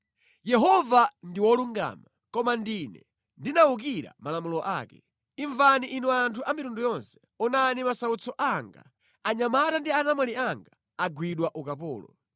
“Yehova ndi wolungama, koma ndine ndinawukira malamulo ake. Imvani inu anthu a mitundu yonse; onani masautso anga. Anyamata ndi anamwali anga agwidwa ukapolo.